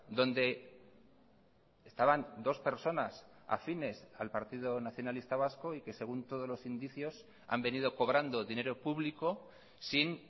donde estaban dos personas afines al partido nacionalista vasco y que según todos los indicios han venido cobrando dinero público sin